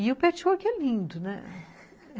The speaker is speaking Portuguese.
E o patchwork é lindo, né?